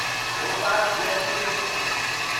Bhopal, Jaipur express